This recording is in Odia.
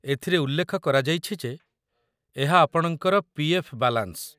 ଏଥିରେ ଉଲ୍ଲେଖ କରାଯାଇଛି ଯେ ଏହା ଆପଣଙ୍କର ପି.ଏଫ୍. ବାଲାନ୍ସ